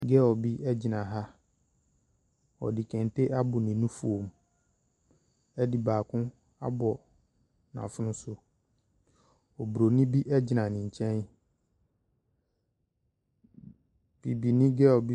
Gɛl bi egyina ha ɔde kente abɔ ne nufu mu ɛde baako abɔ nafono so obroni bi egyina ne nkyɛn bibinii gɛl bi.